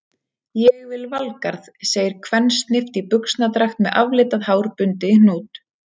Ég vil Valgarð, segir kvensnift í buxnadragt með aflitað hár bundið í hnút.